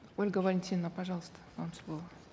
ольга валентиновна пожалуйста вам слово